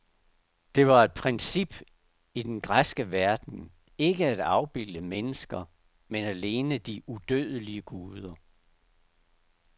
Det var et princip i den græske verden ikke at afbilde mennesker, men alene de udødelige guder.